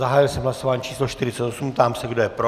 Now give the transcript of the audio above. Zahájil jsem hlasování číslo 48, ptám se, kdo je pro.